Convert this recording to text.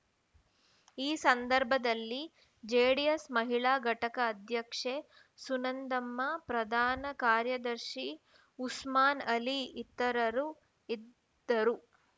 ಈ ಸಂದರ್ಭದಲ್ಲಿ ಜೆಡಿಎಸ್‌ ಮಹಿಳಾ ಘಟಕ ಅಧ್ಯಕ್ಷೆ ಸುನಂದಮ್ಮ ಪ್ರಧಾನ ಕಾರ್ಯದರ್ಶಿ ಉಸ್ಮಾನ್‌ಅಲಿ ಇತರರು ಇದ್ದರು